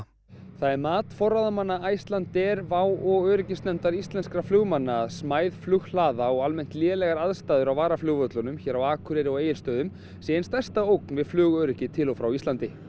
það er mat forráðamanna Icelandair Wow og öryggisnefndar íslenskra flugmanna að smæð flughlaða og almennt lélegar aðstæður á varaflugvöllunum hér á Akureyri og Egilsstöðum séu ein stærsta ógn við flugöryggi til og frá Íslandi